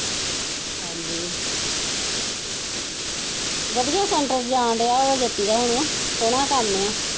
ਹਾਜੀ ਵਧੀਆ ਸੈਂਟਰ ਜਾਣ ਡਯਾ ਜੋਤਿ ਦਾ ਹੋਣ ਸੋਹਣਾ ਕੰਮ ਹੈ।